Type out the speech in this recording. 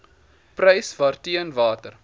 prys waarteen water